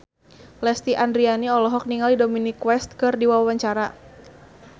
Lesti Andryani olohok ningali Dominic West keur diwawancara